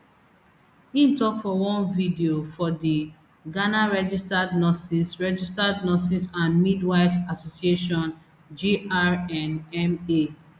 im tok for one video for di ghana registered nurses registered nurses and midwives association grnma